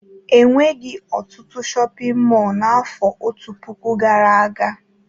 E nweghi ọtụtụ shọpịn mọọ n'afọ otu puku gara aga